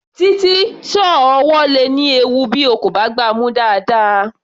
Títí, sọ́ọ̀ ọwọ́ le ní ewu bí o kò bá gbá a mú dáadáa.